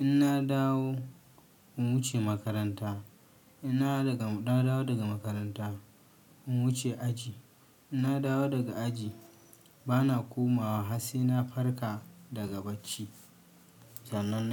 In na dawo, in wuce makaranta. In na dawo daga-- na dawo daga makaranta, in wuce aji. In na dawo daga aji, ba na komawa har sai na farka daga bacci. Zanna.